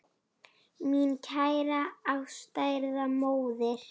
Mín kæra ástkæra móðir.